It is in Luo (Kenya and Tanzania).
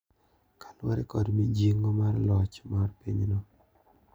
Kaluwore kod mijing'o mar loch mar pinyno